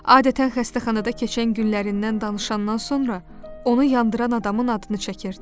Adətən xəstəxanada keçən günlərindən danışandan sonra onu yandıran adamın adını çəkirdi.